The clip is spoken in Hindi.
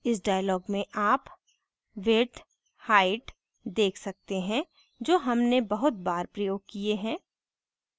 इस dialog में आप width height देख सकते हैं जो हमने बहुत बार प्रयोग किये है